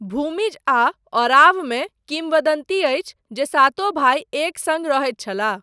भूमिज आ ओरावँ मे किंवदन्ती अछि जे सातो भाइ एक सङ्ग रहैत छलाह।